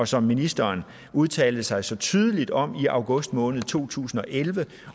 som ministeren udtalte sig så tydeligt om i august måned to tusind og elleve